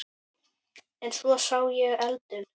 En svo sá ég eldinn.